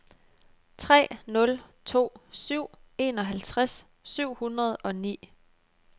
tre nul to syv enoghalvtreds syv hundrede og ni